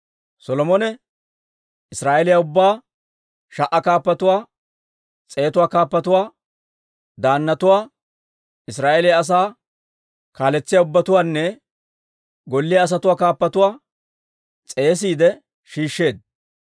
Solomone Israa'eeliyaa ubbaa, sha"aa kaappatuwaa, s'eetuwaa kaappatuwaa, daannatuwaa, Israa'eeliyaa asaa kaaletsiyaa ubbatuwaanne golliyaa asatuwaa kaappatuwaa s'eesiide shiishsheedda.